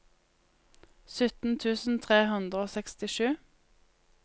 sytten tusen tre hundre og sekstisju